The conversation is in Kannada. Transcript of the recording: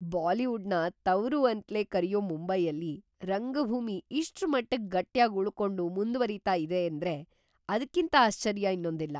ಬಾಲಿವುಡ್‌ನ ತವರು ಅಂತ್ಲೇ ಕರೆಯೋ ಮುಂಬೈಯಲ್ಲಿ ರಂಗಭೂಮಿ ಇಷ್ಟ್ರಮಟ್ಟಿಗ್ ಗಟ್ಯಾಗ್‌ ಉಳ್ಕೊಂಡು ಮುಂದ್ವರೀತಾ ಇದೆ‌ ಅಂದ್ರೆ ಅದ್ಕಿಂತ ಆಶ್ಚರ್ಯ ಇನ್ನೊಂದಿಲ್ಲ.